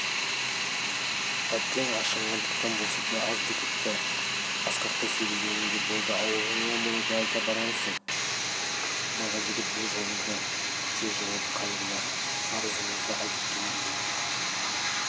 әттең ашынғандықтан болса да азды-көпті асқақтай сөйлегенің де болды аулыңа мұны да айта барарсың бала жігіт бұл жолы да тез жауап қайырды арызымызды айтып кел деген